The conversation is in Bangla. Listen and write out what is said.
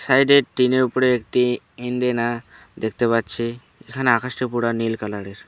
সাইডে টিনের উপরে একটি ইন্ডিনা দেখতে পাচ্ছি এখানে আকাশটি পুরা নীল কালারের।